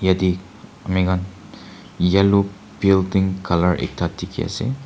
yate ami khan yellow building colour ekta dikhi ase.